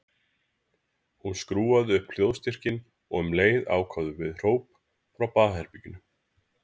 Hún skrúfaði upp hljóðstyrkinn og um leið kváðu við hróp frá baðherberginu.